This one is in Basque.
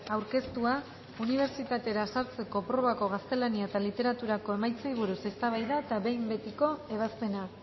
aurkeztua unibertsitatera sartzeko probako gaztelania eta literaturako emaitzei buruz eztabaida eta behin betiko ebazpena